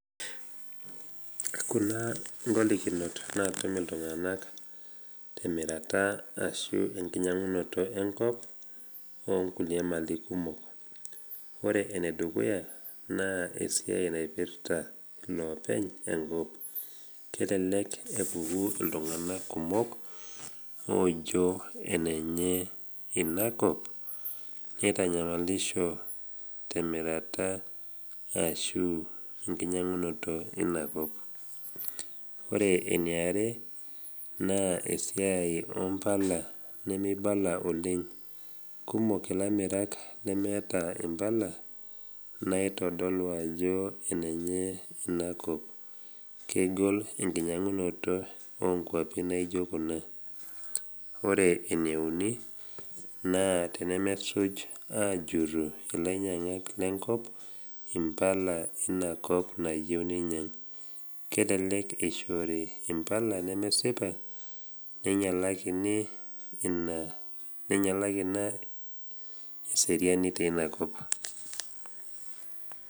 Kuna ngolikinot natum iltung’ana temirata ashu enkinyang’unoto enkop onkulie mali kumok. Ore enedukuya naa esiai naipirta loopeny enkop, kelelek epuku iltung’ana kumok ojo enenye ina kop neitanyamalishoi temirata ashu enkinyang’unoto ina kop. Ore eniara, naa esiai ompala nemeibala oleng, kumok ilamirak lemeeta impala naitodolu ajo enenye inakop, kegol enkinyang’unoto onkwapi naijo kuna. Ore eneuni naa tenemesuj ajurru ilainyang’ak lenkop impala ina kop nayeu neinyang’, kelelek eishori impala nemesipa neinyalaki ina eseriani teina kop.